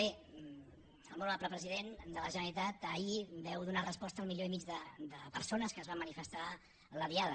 bé molt honorable president de la generalitat ahir vau donar resposta al milió i mig de persones que es van manifestar en la diada